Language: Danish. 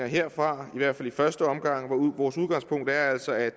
herfra i hvert fald i første omgang vores udgangspunkt er altså at